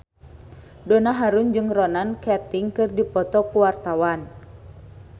Donna Harun jeung Ronan Keating keur dipoto ku wartawan